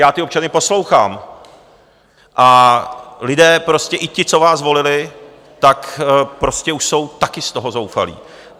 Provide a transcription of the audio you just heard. Já ty občany poslouchám a lidé prostě, i ti, co vás volili, tak prostě už jsou taky z toho zoufalí.